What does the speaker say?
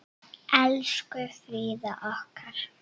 Elsku Fríða okkar.